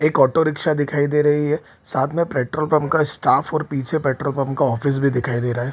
एक auto rickshaw दिखाई दे रही है साथ में पेट्रोल पंप का स्टाफ पीछे पेट्रोल पंप ऑफिस भी दिखाई दे रहा है।